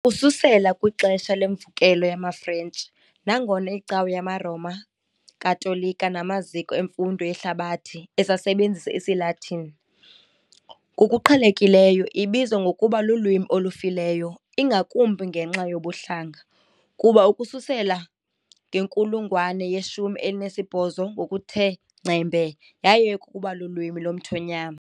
Ukususela kwixesha leMvukelo yamaFrentshi, nangona iCawa yamaRoma Katolika namaziko emfundo yehlabathi esasebenzisa isiLatini, ngokuqhelekileyo ibizwa ngokuba lulwimi olufileyo, ingakumbi ngenxa yobuhlanga, kuba ukususela ngenkulungwane yeshumi elinesibhozo ngokuthe ngcembe yayeka ukuba lulwimi lomthonyama.